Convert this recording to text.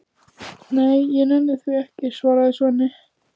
Nei, ég nenni því ekki, svarar Svenni.